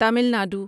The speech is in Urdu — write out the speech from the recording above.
تمل ناڈو